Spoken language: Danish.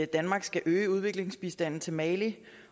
danmark skal øge udviklingsbistanden til mali